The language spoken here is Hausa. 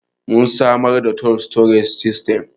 mun samar da tool storage system